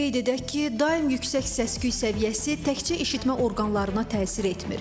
Qeyd edək ki, daim yüksək səs-küy səviyyəsi təkcə eşitmə orqanlarına təsir etmir.